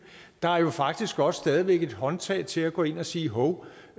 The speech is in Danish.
der er faktisk også stadig væk et håndtag til at gå ind og sige hov